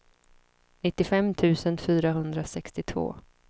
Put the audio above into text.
nittiofem tusen fyrahundrasextiotvå